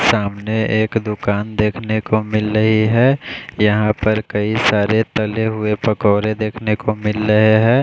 सामने एक दुकान देखने को मिल रही है यहाँ पर कई सारे तले हुए पकोड़े देखने को मिल रहे है।